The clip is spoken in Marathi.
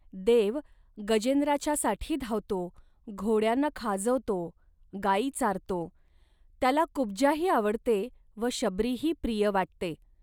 देव गजेंद्राच्यासाठी धावतो, घोड्यांना खाजवतो, गाई चारतो. त्याला कुब्जाही आवडते व शबरीही प्रिय वाटते